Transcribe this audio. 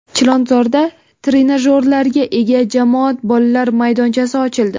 Chilonzorda trenajyorlarga ega jamoat bolalar maydonchasi ochildi.